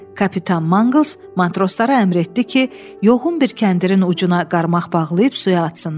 Kapitan Mangls matroslara əmr etdi ki, yoğun bir kəndirin ucuna qarmaq bağlayıb suya atsınlar.